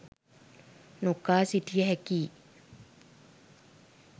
නොකා සිටිය හැකියි